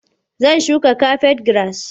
Zan shuka kafet giras.